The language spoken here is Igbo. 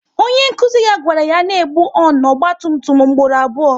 Onye nkụzi ya gwara ya n'egbu honu ọgba tum tum mgboro abụọ